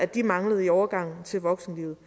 de manglede i overgangen til voksenlivet